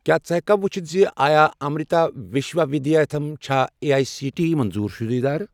کیٛاہ ژٕ ہیٚککھا وُچھِتھ زِ آیا امرِتا وِشوا وِدیاپیٖتھم چھا اے اٮٔۍ سی ٹی ایی منظور شُدٕ ادارٕ؟